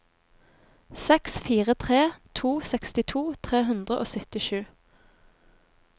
seks fire tre to sekstito tre hundre og syttisju